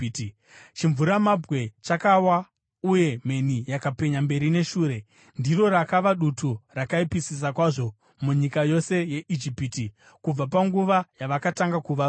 chimvuramabwe chakawa uye mheni yakapenya mberi neshure. Ndiro rakava dutu rakaipisisa kwazvo munyika yose yeIjipiti, kubva panguva yavakatanga kuva rudzi.